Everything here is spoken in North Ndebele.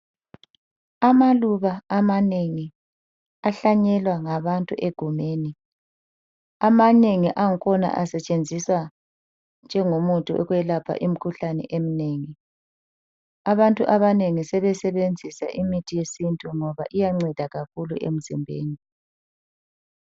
Amaluba amanengi ahlanyelwa ngabantu egumeni .Amanengi angkhona asetshenziswa njengo muthi wokwelapha imikhuhlane eminengi. Abantu abanengi sebesebenzisa imithi yesintu ngoba iyanceda kakhulu emzimbeni.